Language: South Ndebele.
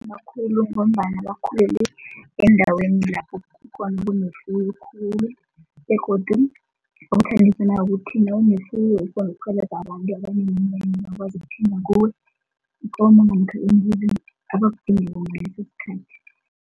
Makhulu ngombana bakhulele endaweni lapho kunefuyo khulu begodu ukuthi nawunefuyo ukghona abantu abaneminyanya bakwazi ikomo namkha imbuzi, abakudingako ngaleso sikhathi.